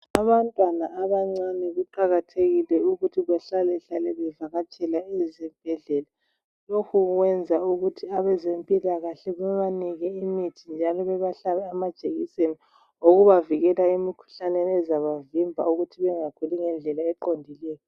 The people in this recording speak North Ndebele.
Abantwana abancane kuqakathekile ukuthi behlalehlale bevakatshela ezibhedlela .Lokho kuyenza ukuthi abazempilakahle bebanike imithi njalo bebahlabe amajekiseni okubavikela emikhuhlaneni ezabavimba ukuthi bengakhuli ngendlela eqondileyo.